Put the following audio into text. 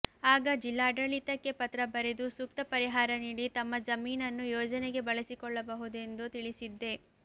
ಆಗ ಜಿಲ್ಲಾಡಳಿತಕ್ಕೆ ಪತ್ರ ಬರೆದು ಸೂಕ್ತ ಪರಿಹಾರ ನೀಡಿ ತಮ್ಮ ಜಮೀನನ್ನು ಯೋಜನೆಗೆ ಬಳಸಿಕೊಳ್ಳಬಹುದೆಂದು ತಿಳಿಸಿದ್ದೆ